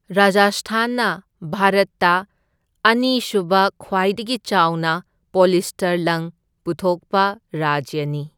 ꯔꯥꯖꯁꯊꯥꯟꯅ ꯚꯥꯔꯠꯇ ꯑꯅꯤꯁꯨꯕ ꯈ꯭ꯋꯥꯏꯗꯒꯤ ꯆꯥꯎꯅ ꯄꯣꯂꯤꯁꯇꯔ ꯂꯪ ꯄꯨꯊꯣꯛꯄ ꯔꯥꯖ꯭ꯌꯅꯤ꯫